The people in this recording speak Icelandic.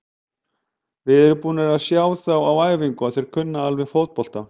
Við erum búnir að sjá þá á æfingum og þeir kunna alveg fótbolta.